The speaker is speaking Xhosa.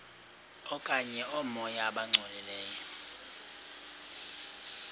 okanye oomoya abangcolileyo